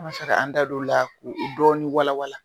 An bɛ fɛ k'an da don o la k'o dɔɔnin walawala.